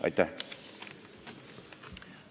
Aitäh!